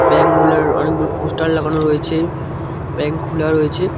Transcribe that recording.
ব্যাঙগুলোও অনেকগুলো পোস্টার লাগানো রয়েছে ব্যাঙ্ক খুলা রয়েছে।